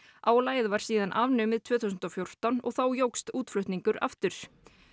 álagið var síðan afnumið tvö þúsund og fjórtán og þá jókst útflutningur aftur